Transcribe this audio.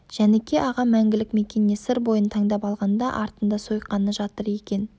жәніке ағам мәңгілік мекеніне сыр бойын таңдап алғанда артында сойқаны жатыр екен